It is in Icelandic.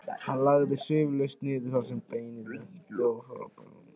Hann lagðist umsvifalaust niður þar sem beinið lenti og fór að naga af miklum ákafa.